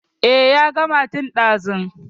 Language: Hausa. Eh ya gama tun ɗazu.